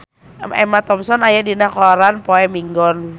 Emma Thompson aya dina koran poe Minggon